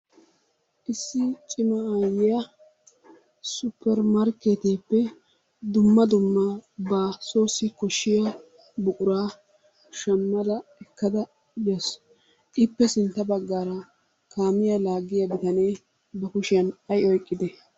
Issi cima aayyiya supper markkeetiyappe dumma dumma ba soossi koshshiya buquraa shammada ekkada bawusu. Ippe sintta baggaara kaamiya laaggiya bitanee ba kushiyan ay oyiqqide?